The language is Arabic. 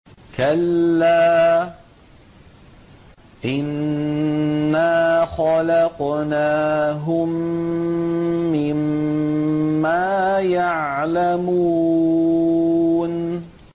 كَلَّا ۖ إِنَّا خَلَقْنَاهُم مِّمَّا يَعْلَمُونَ